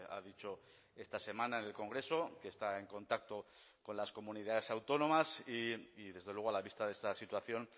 ha dicho esta semana en el congreso que está en contacto con las comunidades autónomas y desde luego a la vista de esta situación